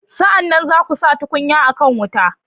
Sa'an nan, za ku sa tukunya a kan wuta.